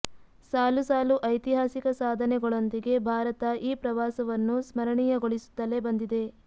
ಸಾಲು ಸಾಲು ಐತಿಹಾಸಿಕ ಸಾಧನೆಗಳೊಂದಿಗೆ ಭಾರತ ಈ ಪ್ರವಾಸವನ್ನು ಸ್ಮರಣೀಯಗೊಳಿಸುತ್ತಲೇ ಬಂದಿದೆ